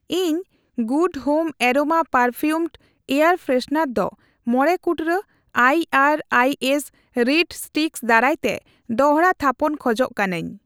ᱤᱧ good home aroma perfumed air freshener ᱫᱚ ᱢᱚᱲᱮ ᱠᱩᱴᱨᱟᱹ ᱠᱚ ᱟᱭᱟᱨᱟᱭᱮᱥ ᱨᱤᱰ ᱴᱷᱮᱜᱟ ᱫᱟᱨᱟᱭᱛᱮ ᱫᱚᱲᱦᱟ ᱛᱷᱟᱯᱚᱱ ᱠᱷᱚᱡᱚᱜ ᱠᱟᱱᱟᱧ ᱾